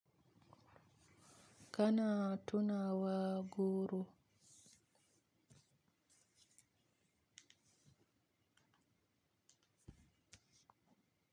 Kana tuna wa goro.